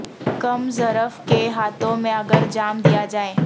کم ظرف کے ہاتھوں میں اگر جام دیا جائے